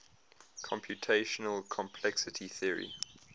computational complexity theory